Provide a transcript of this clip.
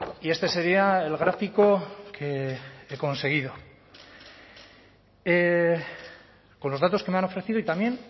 y este sería el gráfico que he conseguido con los datos que me han ofrecido y también